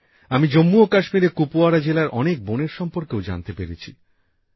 আমি জম্মু ও কাশ্মীরের কুপওয়ারা জেলার অনেক বোনের সম্পর্কেও জানতে পেরেছি